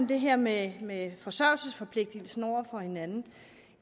det her med med forsørgelsesforpligtelsen over for hinanden